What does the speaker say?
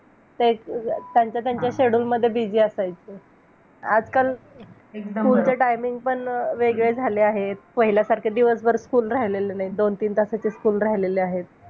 तद नंतर त्याचे हृदयातील व्हान वायु द्वारे सप्त धातूच्या पोषणाकरिता संपूर्ण शरीरामध्ये एक सारखे विकृ विकृपष्ण केले जाते. आहार रसात सर्व शरीर व्यापी जरी असली तरी शरीर का च्या दृष्टीने मात्र हृदयच त्याचे प्रमुख स्थान आहे.